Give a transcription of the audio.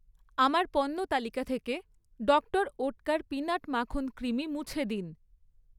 আমার পণ্য তালিকা থেকে ডক্টর ওটকার পিনাট মাখন ক্রিমি মুছে দিন।